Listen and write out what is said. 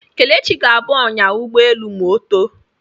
Kelechi ga-abụ ọnyá ụgbọelu ma ọ too.